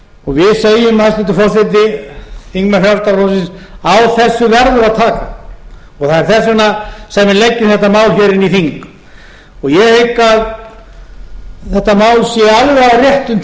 fólksins við segjum hæstvirtur forseti þingmenn frjálslynda flokksins á þessu verður að taka og það er þess vegna sem við leggjum þetta mál hér inn i þing ég hygg að þetta mál sé alveg á réttum